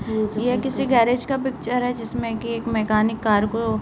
यह किसी गैरेज का पिक्चर है जिसमें कि एक मेकानिक कार को --